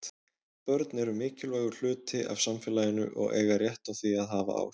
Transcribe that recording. Börn eru mikilvægur hluti af samfélaginu og eiga rétt á því að hafa áhrif.